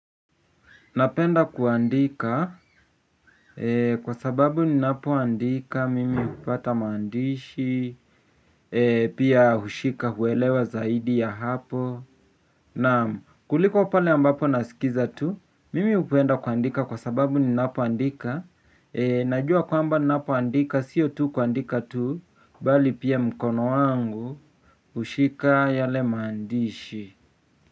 Napenda kuandika, kwa sababu ninapo andika, mimi hupata maandishi, pia hushika, hueelewa zaidi ya hapo. Na kuliko pale ambapo nasikiza tu, mimi hupenda kuandika kwa sababu ninapo andika. Najua kwamba ninapo andika, sio tu kuandika tu, bali pia mkono wangu hushika yale maandishi.